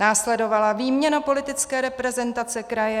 Následovala výměna politické reprezentace kraje.